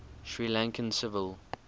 sri lankan civil